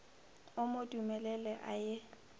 o mo dumelele a ye